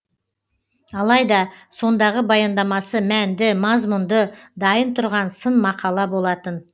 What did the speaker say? алайда сондағы баяндамасы мәнді мазмұнды дайын тұрған сын мақала болатын